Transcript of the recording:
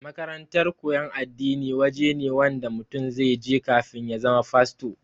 makarantar koyan addini waje ne Wanda mutum zaije kafin ya zama fasto